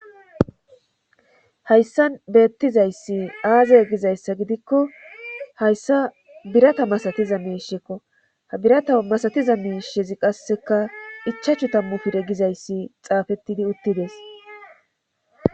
hayssan beettizayssi aazay gizayssa gidikko hayssa birata masatiza miishekko ha birata masatiza miishshezi qasseka ichachu tammu pire gizayssi xaafettidi uttides